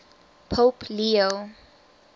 pope leo